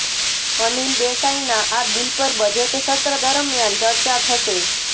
અનિલ દેસાઈના આ બિલ પર બજેટ સત્ર દરમિયાન ચર્ચા થશે